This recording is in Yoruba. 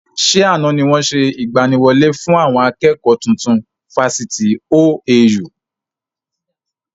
Ṣé àna ni wọn ṣe ìgbàníwọlé fún àwọn akẹ́kọ̀ tuntun Fásitì OAU?